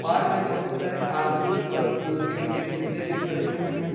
Park में बहुत सारे आदमी और उसके उनके कुत्ते भी खड़े हुए हैं।